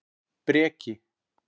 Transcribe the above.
Breki